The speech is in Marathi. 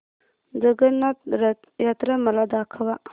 जगन्नाथ रथ यात्रा मला दाखवा